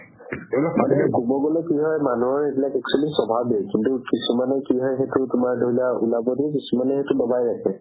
ক'ব গ'লে কি হয় মানুহৰ actually স্ৱাভাৱেই কিন্তু কিছুমানৰ কি হয় সেইটো তুমাৰ ধৰি লোৱা উলাব কিছুমানে দবাই ৰাখে